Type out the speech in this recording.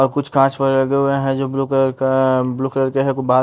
और कुछ काँच वैरा लगे हुए हैं जो ब्लू कलर कााा ब्लू कलर के हैं ।